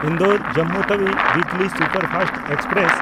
Indore-Jammu Tawi weekly superfast express